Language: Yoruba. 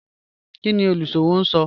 Kini oluṣowo n sọ?